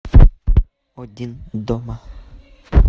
один дома